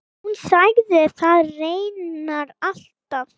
Hún sagði það reyndar alltaf.